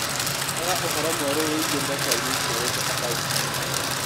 Rora ũhoro mwerũ wĩgiĩ mbeca iria itigarĩte akaũnti-inĩ yaku.